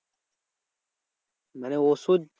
মানে ওষুধ